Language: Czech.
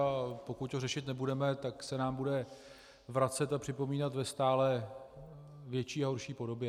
A pokud to řešit nebudeme, tak se nám bude vracet a připomínat ve stále větší a horší podobě.